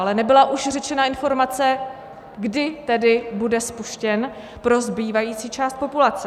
Ale nebyla už řečena informace, kdy tedy bude spuštěn pro zbývající část populace.